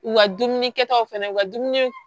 U ka dumuni kɛtaw fɛnɛ u ka dumuni